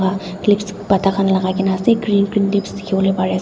pata khan lakai na ase green green leaves dikhiwolae pariase.